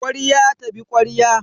Ƙwarya ta bi ƙwarya.